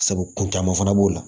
Sabu kun caman fana b'o la